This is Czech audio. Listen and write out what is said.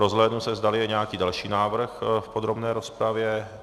Rozhlédnu se, zdali je nějaký další návrh v podrobné rozpravě.